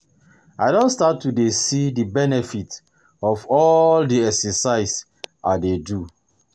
I don start to dey see the benefits of all the exercise I dey do